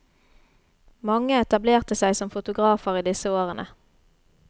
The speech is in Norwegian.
Mange etablerte seg som fotografer i disse årene.